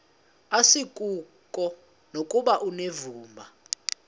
asikuko nokuba unevumba